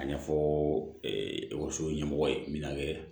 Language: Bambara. A ɲɛfɔ ekɔliso ɲɛmɔgɔ ye min kɛ